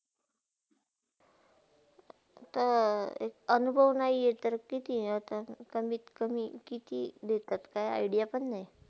त अनुभव नाही तर किती अता कमीत - कमीत किती देतात ते काही idea पण नाही?